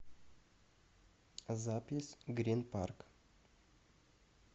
запись грин парк